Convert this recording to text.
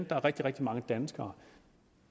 der er rigtig rigtig mange danskere